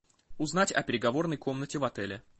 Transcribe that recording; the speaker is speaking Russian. узнать о переговорной комнате в отеле